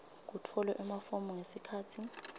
kutfolwe emafomu ngesikhatsi